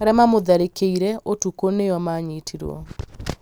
arĩa maamũtharĩkĩire ũtukũ nĩo maanyitirũo